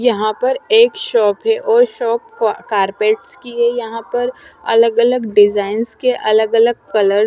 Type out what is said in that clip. यहाँ पर एक शॉप है और शॉप कॉ कार्पेट्स की है यहाँ पर अलग अलग डिज़ाइन के अलग अलग कलर --